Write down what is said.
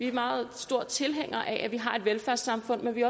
er meget store tilhængere af at man har et velfærdssamfund men vi